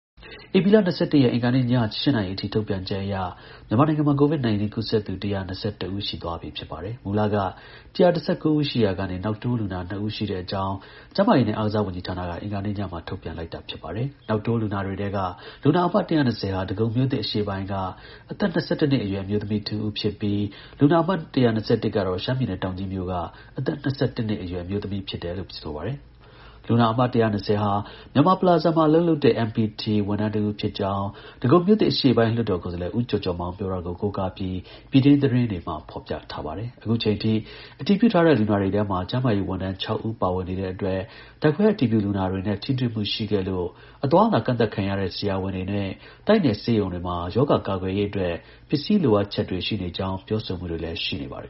ဧပြီလ ၂၁ ရက်၊ အင်္ဂါနေ့ည ၈ နာရီအထိ ထုတ်ပြန်ချက်အရ မြန်မာနိုင်ငံမှာ COVID-19 ကူးစက်သူ ၁၂၁ ဦး ရှိသွားပြီ ဖြစ်ပါတယ်။ မူလက ၁၁၉ ဦး ရှိခဲ့ရာက နောက်တိုးလူနာ ၂ ဦး ရှိတဲ့အကြောင်း ကျန်းမာရေးနဲ့ အားကစားဝန်ကြီးဌာနက အင်္ဂါနေ့ညမှာ ထုတ်ပြန်လိုက်တာ ဖြစ်ပါတယ်။ နောက်တိုး လူနာတွေထဲက လူနာအမှတ် ၁၂၀ ဟာ ဒဂုံမြို့သစ် အရှေ့ပိုင်းက အသက် ၂၁ နှစ်အရွယ် အမျိုးသမီးတဦးဖြစ်ပြီး လူနာ အမှတ် ၁၂၁ ကတော့ ရှမ်းပြည်နယ်၊ တောင်ကြီးမြို့က အသက် ၂၁ နှစ်အရွယ် အမျိုးသမီးတဦး ဖြစ်တယ်လို့ ဆိုပါတယ်။ လူနာအမှတ် ၁၂၀ ဟာ မြန်မာပလာဇာမှာ အလုပ်လုပ်တဲ့ MPT ဝန်ထမ်းတဦးဖြစ်ကြောင်း ဒဂုံမြို့သစ်အရှေ့ပိုင်း လွှတ်တော်ကိုယ်စားလှယ် ဦးကျော်ကျော်မောင်ပြောတာကို ကိုးကားပြီး ပြည်တွင်းသတင်းတွေမှာ ဖော်ပြထားပါတယ်။ အခုချိန်ထိ အတည်ပြုထားတဲ့ လူနာတွေထဲမှာ ကျန်းမာရေးဝန်ထမ်း ၆ ဦး ပါဝင် နေတဲ့အတွက် ဓာတ်ခွဲအတည်ပြုလူနာတွေနဲ့ ထိတွေ့မှု ရှိခဲ့လို့ အသွားအလာကန့်သတ်ခံရတဲ့ ဆရာဝန်တွေနဲ့ တိုက်နယ်ဆေးရုံတွေမှာ ရောဂါကာကွယ်ရေးအတွက် ပစ္စည်းလိုအပ်ချက်တွေ ရှိနေကြောင်း ပြောဆိုမှုတွေလည်း ရှိနေပါတယ်